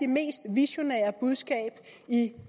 mest visionære budskab i